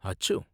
அச்சோ!